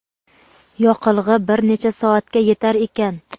Yoqilg‘i bir necha soatga yetar ekan.